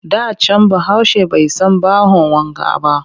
Da can Bahaushe bai san bahon wanka ba